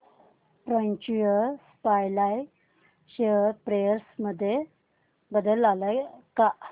future supply share price मध्ये बदल आलाय का